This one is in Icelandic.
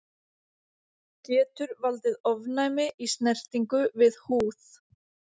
Getur valdið ofnæmi í snertingu við húð.